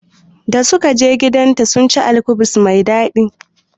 Da sukaje gidanta sunci alkubus mai daɗi